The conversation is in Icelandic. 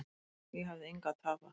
Ég hafði engu að tapa.